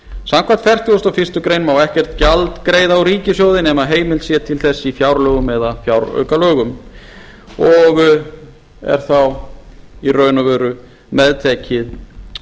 samkvæmt fertugustu og fyrstu grein má ekkert gjald greiða úr ríkissjóði nema heimild sé til þess í fjárlögum og fjáraukalögum og er þá í raun meðtekin